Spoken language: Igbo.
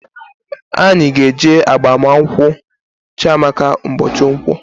Anyị ga eje agbamunkwu Chiamaka mbochi Nkwo